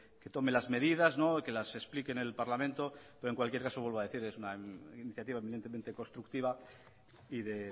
que tome las medidas y que las explique en el parlamento en cualquier caso vuelvo a decir es una iniciativa eveidentemente constructiva y de